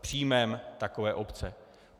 příjmem takové obce.